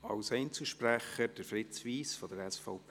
Als Einzelsprecher: Fritz Wyss, SVP.